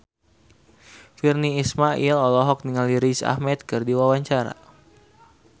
Virnie Ismail olohok ningali Riz Ahmed keur diwawancara